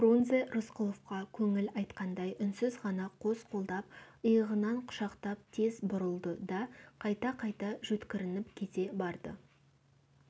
фрунзе рысқұловқа көңіл айтқандай үнсіз ғана қос қолдап иығынан құшақтап тез бұрылды да қайта-қайта жөткірініп кете барды